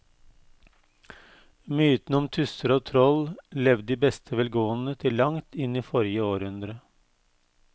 Mytene om tusser og troll levde i beste velgående til langt inn i forrige århundre.